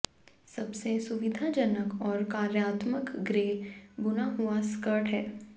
सबसे सुविधाजनक और कार्यात्मक ग्रे बुना हुआ स्कर्ट है